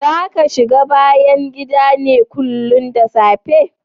Zaka shiga bayn gidan ne kullin da safe?